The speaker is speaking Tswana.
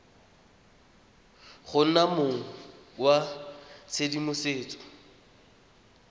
go nna mong wa tshedimosetso